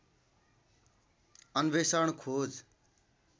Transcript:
अन्वेषण खोज